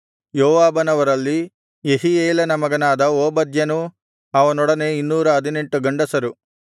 ಯೋವಾಬನವರಲ್ಲಿ ಯೆಹೀಯೇಲನ ಮಗನಾದ ಓಬದ್ಯನೂ ಅವನೊಡನೆ 218 ಗಂಡಸರು